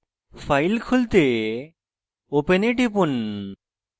file খুলতে open এ টিপুন